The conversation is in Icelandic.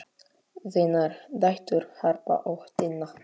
Þínar dætur, Harpa og Tinna.